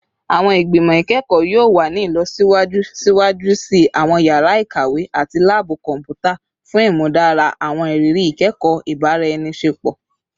Awọn igbimọ ikẹkọ yoo wa ni ilọsiwaju siwaju si awọn yara ikawe ati laabu kọnputa fun imudara awọn iriri ikẹkọ ibaraenisepo